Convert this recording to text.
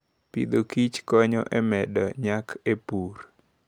Agriculture and Food konyo e medo nyak e pur.